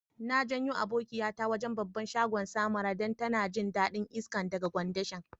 Na jayo abokiya ta wajen' babban shagon Samara dan ta na jin dadin iska daga kwandishan.